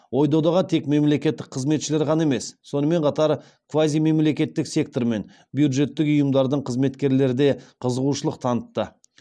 ой додаға тек мемлекеттік қызметшілер ғана емес сонымен қатар квазимемлекеттік сектор мен бюджеттік ұйымдардың қызметкерлері де қызығушылық танытты